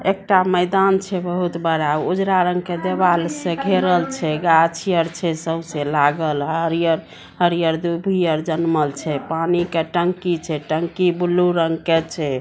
एकटा मैदान छे बहुत बड़ा उजला रंग के दीवाल से घेरल छे गाछी आर छे सब से लागल हरियर हरियर दुभी आर जनमल छे पानी के टंकी छे टंकी ब्लू रंग के छे।